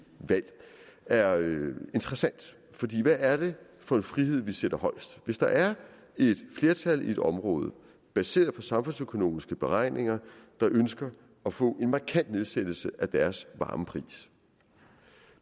valg er interessant for hvad er det for en frihed vi sætter højst hvis der er et flertal i et område baseret på samfundsøkonomiske beregninger der ønsker at få en markant nedsættelse af deres varmepris